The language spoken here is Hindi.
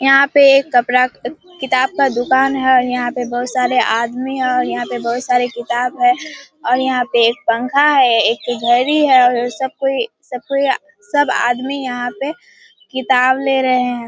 यहाँ पे एक कपड़ा किताब का दुकान है। यहाँ पे बहुत सारे आदमी हैं और यहाँ पे बहुत सारे किताब हैं और यहाँ पे एक पंखा है एक घड़ी है और सब कोई सब कोई सब आदमी यहाँ पे किताब ले रहें हैं।